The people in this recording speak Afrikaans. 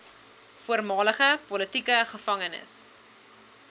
voormalige politieke gevangenes